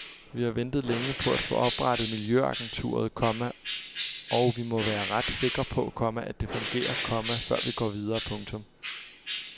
Vi har ventet længe på at få oprettet miljøagenturet, komma og vi må være ret sikre på, komma at det fungerer, komma før vi går videre. punktum